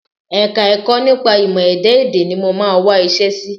Ẹka-ẹ̀kọ́ nípa ìmọ̀-ẹ̀dá èdè ni mo máa wá iṣẹ́ sí